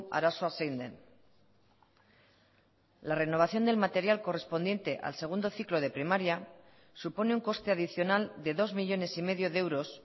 arazoa zein den la renovación del material correspondiente al segundo ciclo de primaria supone un coste adicional de dos millónes y medio de euros